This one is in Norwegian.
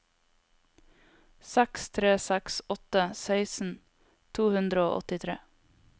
seks tre seks åtte seksten to hundre og åttitre